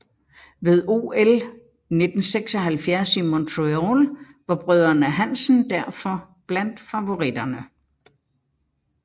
Ved OL 1976 i Montreal var brødrene Hansen derfor blandt favoritterne